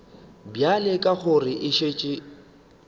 bjale ka gore e šetše